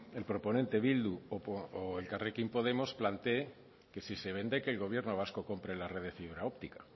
el proponente bildu o elkarrekin podemos plantee que si se vende que el gobierno vasco compre la red de fibra óptica